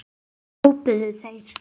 hrópuðu þeir.